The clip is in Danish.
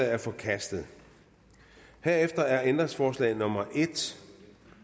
er forkastet herefter er ændringsforslag nummer en